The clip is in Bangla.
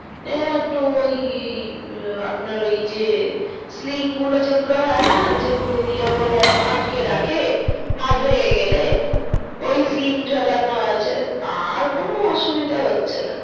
ও একটু ওই আপনার ওই যে sling গুলো যেগুলো হয়না যেগুলো দিয়ে গলায় আটকে রাখে হুম হুম হাত ভেঙে গেলে হুম হুম sling ঝোলানো আছে আর কোনো অসুবিধা হচ্ছেনা